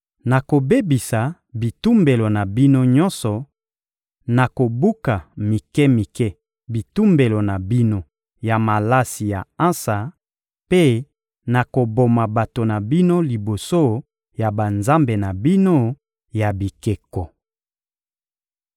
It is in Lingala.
Nakobebisa bitumbelo na bino nyonso, nakobuka mike-mike bitumbelo na bino ya malasi ya ansa mpe nakoboma bato na bino liboso ya banzambe na bino ya bikeko.